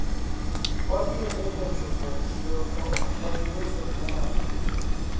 wabiro deko chopo e siro to ok wabi uso gimoro amora